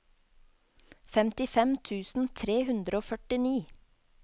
femtifem tusen tre hundre og førtini